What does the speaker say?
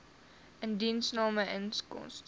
indiensname koste